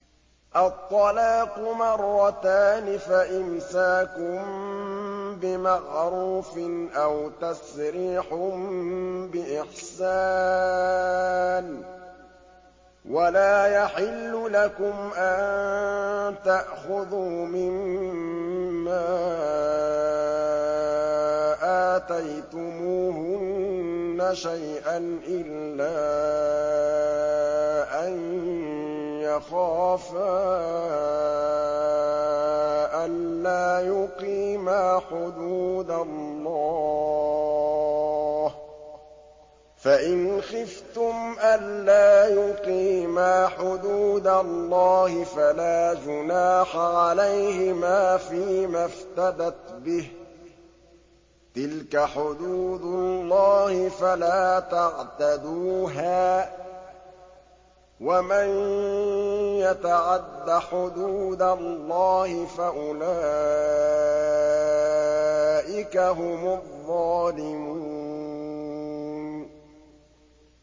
الطَّلَاقُ مَرَّتَانِ ۖ فَإِمْسَاكٌ بِمَعْرُوفٍ أَوْ تَسْرِيحٌ بِإِحْسَانٍ ۗ وَلَا يَحِلُّ لَكُمْ أَن تَأْخُذُوا مِمَّا آتَيْتُمُوهُنَّ شَيْئًا إِلَّا أَن يَخَافَا أَلَّا يُقِيمَا حُدُودَ اللَّهِ ۖ فَإِنْ خِفْتُمْ أَلَّا يُقِيمَا حُدُودَ اللَّهِ فَلَا جُنَاحَ عَلَيْهِمَا فِيمَا افْتَدَتْ بِهِ ۗ تِلْكَ حُدُودُ اللَّهِ فَلَا تَعْتَدُوهَا ۚ وَمَن يَتَعَدَّ حُدُودَ اللَّهِ فَأُولَٰئِكَ هُمُ الظَّالِمُونَ